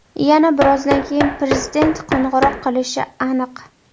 Yana birozdan keyin Prezident qo‘ng‘iroq qilishi aniq.